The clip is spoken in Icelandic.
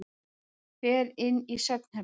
Fer inn í svefnherbergið.